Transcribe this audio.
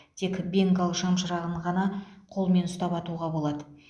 тек бенгал шамшырағын ғана қолмен ұстап атуға болады